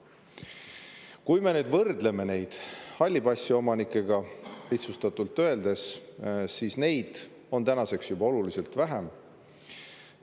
Kui me võrdleme neid halli passi omanikega, lihtsustatult öeldes, siis neid on tänaseks juba oluliselt vähem.